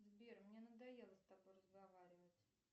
сбер мне надоело с тобой разговаривать